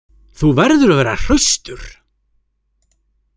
Þú verður að vera hraustur.